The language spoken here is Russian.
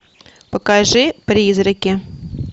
покажи призраки